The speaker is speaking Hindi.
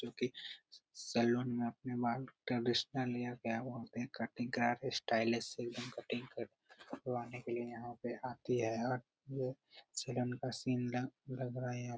जो की सैलून में अपने बाल ट्रेडिशनल या गया वहाँ पे कटिंग करा के स्टायलिश एकदम कटिंग कर करवाने के लिए यहाँ पे आती है और ये सैलून का सीन लग रहा है यहाँ पे।